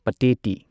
ꯄꯇꯦꯇꯤ